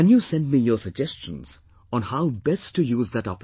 Can you send me your suggestions on how best to use that opportunity